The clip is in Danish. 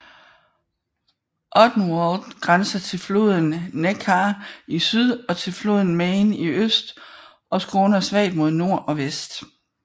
Odenwald grænser til floden Neckar i syd og til floden Main i øst og skråner svagt mod nord og vest